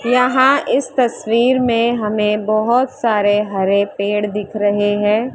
यहां इस तस्वीर में हमें बहोत सारे हरे पेड़ दिख रहे है।